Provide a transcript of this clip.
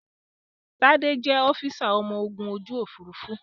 Tádé jẹ́ ọ́físà ọmọ ogun ojú Òfurufú